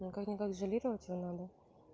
ну как ни как изолировать надо